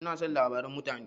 Ina son labaran mutane.